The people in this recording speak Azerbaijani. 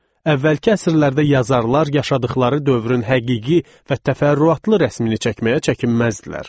Əvvəlki əsrlərdə yazarlar yaşadıqları dövrün həqiqi və təfərrüatlı rəsmini çəkməyə çəkinməzdilər.